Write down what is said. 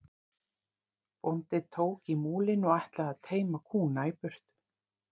Bóndi tók í múlinn og ætlaði að teyma kúna í burtu.